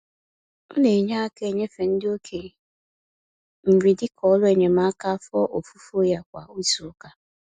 Ọ na-enye aka enyefe ndị okenye nri dịka ọrụ enyemaka afọ ofufo ya kwa izuụka.